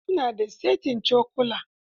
Su na da saitin cokula.